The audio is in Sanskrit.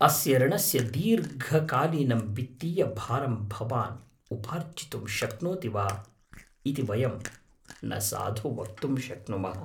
अस्य ऋणस्य दीर्घकालीनं वित्तीयभारम् भवान् उपार्जितुं शक्नोति वा इति वयं न साधु वक्तुं शक्नुमः।